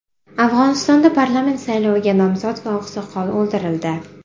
Afg‘onistonda parlament sayloviga nomzod va oqsoqol o‘ldirildi.